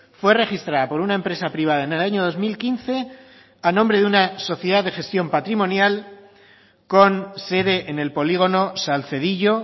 fue registrada por una empresa privada en el año dos mil quince a nombre de una sociedad de gestión patrimonial con sede en el polígono salcedillo